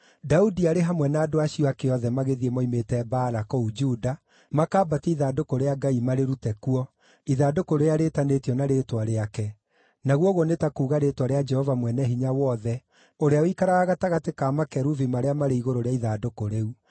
Daudi arĩ hamwe na andũ acio ake othe magĩthiĩ moimĩte Baala kũu Juda makambatie ithandũkũ rĩa Ngai marĩrute kuo, ithandũkũ rĩrĩa rĩĩtanĩtio na Rĩĩtwa Rĩake, naguo ũguo nĩ ta kuuga Rĩĩtwa rĩa Jehova Mwene-Hinya-Wothe, ũrĩa ũikaraga gatagatĩ ka makerubi marĩa marĩ igũrũ rĩa ithandũkũ rĩu.